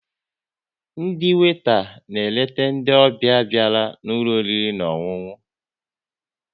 Ndị weta na-eleta ndị ọbịa bịara n'ụlọ oriri na ọṅụṅụ